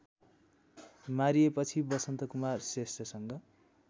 मारिएपछि Vasantkumar श्रेष्ठसँग